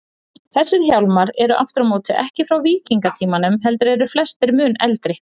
Þessir hjálmar eru aftur á móti ekki frá víkingatímanum, heldur eru flestir mun eldri.